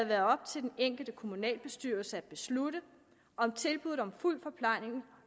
være op til den enkelte kommunalbestyrelse at beslutte om tilbuddet om fuld forplejning